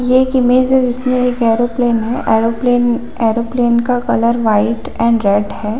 ये एक इमेज है जिसमे एक एयरोप्लेन है एयरोप्लेन एयरोप्लेन का कलर वाइट एंड रेड है।